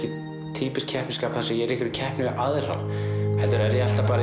týpískt keppnisskap þar sem ég er í einhverri keppni við aðra heldur er ég alltaf